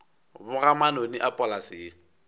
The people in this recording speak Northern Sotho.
boga manoni a polase ye